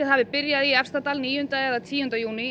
hafi byrjað í Efstadal níunda eða tíunda júní